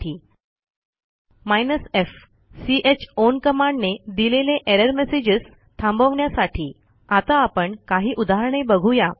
hyphen f chown कमांडने दिलेले error messagesथांबवण्यासाठी आता आपण काही उदाहरणे बघूया